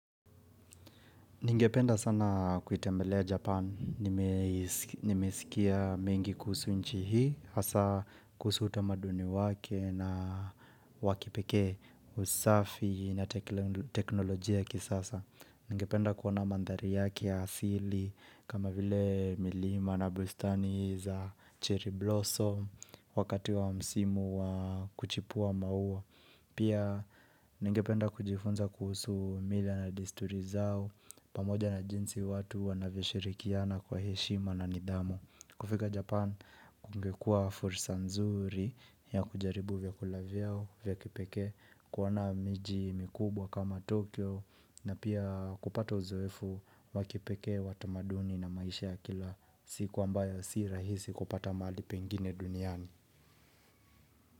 Ningependa sana kuitembelea Japan. Nimesikia mingi kusu nchi hii, hasa kusu uta maduni wake na wakipekee usafi na teknolojia ki sasa. Ningependa kuona mandhari yake ya asili kama vile milima na bustani za cherry blossom wakati wa msimu wa kuchipua mauwa. Pia ningependa kujifunza kuhusu mila na desturi zao pamoja na jinsi watu wanavishirikiana kwa heshima na nidhamu kufika Japan kungekua fursa nzuri ya kujaribu vyakula vyao vya kipeke kuona miji mikubwa kama Tokyo na pia kupata uzoefu wakipeke watamaduni na maisha ya kila siku ambayo si rahisi kupata mali pengine duniani.